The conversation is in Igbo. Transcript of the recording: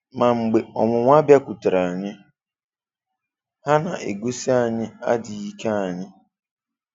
Mà mgbe ọnwụ́nwà bịàkwùtèré anyị, ha na-egosí anyị adị́ghị́ ike anyị